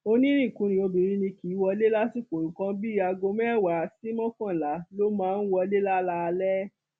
onínríkunkun obìnrin ni kì í wọlé lásìkò nǹkan bíi aago mẹwàá sí mọkànlá ló máa ń wọlé lálaalẹ